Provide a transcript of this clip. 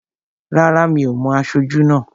Rárá, mi ò mo aṣojú náà